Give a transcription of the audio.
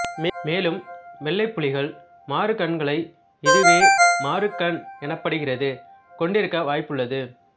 மேலும் வெள்ளைப் புலிகள் மாறு கண்களைக் இதுவே மாறுகண் எனப்படுகிறது கொண்டிருக்க வாய்ப்புள்ளது